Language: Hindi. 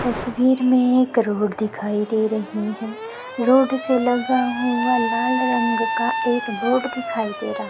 तस्वीर में एक रोड़ दिखाई दे रही है रोड़ से लगा हुआ लाल रंग का एक बोर्ड दिखाई दे रहा--